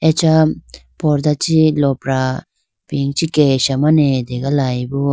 Acha pordah chi lopra kesha mane ategalayibo.